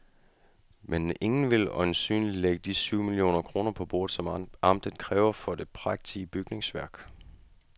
Men ingen vil øjensynligt lægge de syv millioner kroner på bordet, som amtet kræver for det prægtige bygningsværk.